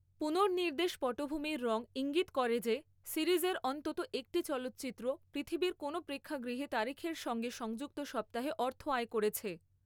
পুনর্নির্দেশ পটভূমির রং ঈঙ্গিত করে যে, সিরিজের অন্তত একটি চলচ্চিত্র পৃথিবীর কোনও প্রেক্ষাগৃহে তারিখের সঙ্গে সংযুক্ত সপ্তাহে অর্থ আয় করেছে।